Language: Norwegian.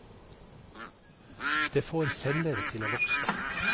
Det får celler til å vokse.